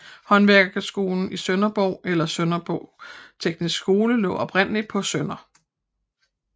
Håndværkerskolen i Sønderborg eller Sønderborg Tekniske Skole lå oprindeligt på Sdr